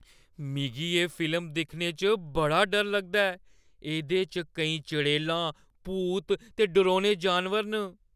मिगी एह् फिल्म दिक्खने च बड़ा डर लगदा ऐ। एह्दे च केईं चड़ेलां, भूत ते डरौने जानवर न।